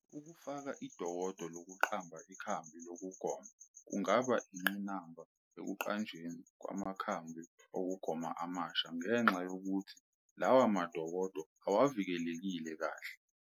Ukufaka idokodo lokuqamba ikhambi lokugoma kungaba ingqinamba ekuqanjweni kwamakambi okugoma amasha ngenxa yokuthi lawa madokodo awavikelekile kahle.